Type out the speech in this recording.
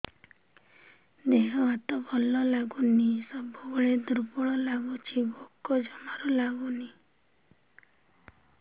ଦେହ ହାତ ଭଲ ଲାଗୁନି ସବୁବେଳେ ଦୁର୍ବଳ ଲାଗୁଛି ଭୋକ ଜମାରୁ ଲାଗୁନି